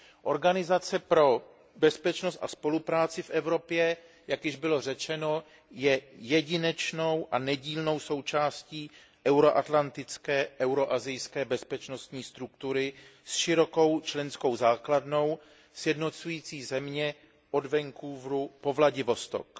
Organizace pro bezpečnost a spolupráci v Evropě, jak již bylo řečeno, je jedinečnou a nedílnou součástí euro atlantické, euro asijské bezpečnostní struktury s širokou členskou základnou sjednocující země od Vancouvru po Vladivostok.